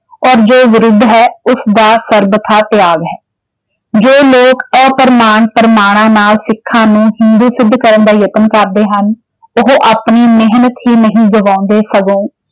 ਔਰ ਜੋ ਵਿਰੁੱਧ ਹੈ ਉਸਦਾ ਸਰਬਥਾ ਤਿਆਗ ਹੈ ਜੋ ਲੋਕ ਅਪ੍ਰਮਾਣ ਪ੍ਰਮਾਣਾਂ ਨਾਲ ਸਿੱਖਾਂ ਨੂੰ ਹਿੰਦੂ ਸਿੱਧ ਕਰਨ ਦਾ ਯਤਨ ਕਰਦੇ ਹਨ ਉਹ ਆਪਣੀ ਮਿਹਨਤ ਹੀ ਨਹੀਂ ਗਵਾਉਂਦੇ ਸਗੋਂ।